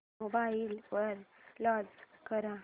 mobile वर launch कर